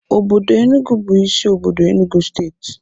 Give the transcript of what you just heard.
Obodo Enugu bu isi obodo enugu steeti